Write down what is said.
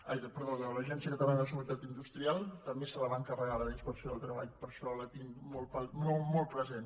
ai perdó de l’agència catalana de seguretat industrial també se la van carregar la d’inspecció de treball per això la tinc molt present